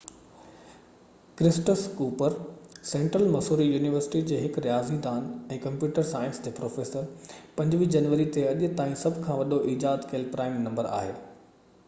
Curtis Cooper central Missouri university جي هڪ رياضي دان ۽ ڪمپيوٽر سائنس جي پروفيسر 25 جنوري تي اڄ تائين سڀ کان وڏو ايجاد ڪيل پرائم نمبر آهي